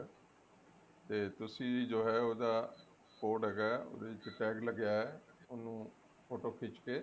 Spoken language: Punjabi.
ਤੇ ਤੁਸੀਂ ਜੋ ਹੈ ਉਹਦਾ code ਹੈਗਾ ਉਹਦੇ ਵਿੱਚ tag ਲੱਗਿਆ ਹੋਇਆ ਉਹਨੂੰ photo ਖਿੱਚ ਕੇ